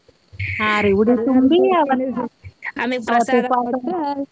ಹಾ ರೀ ಉಡಿ ತುಂಬಿ .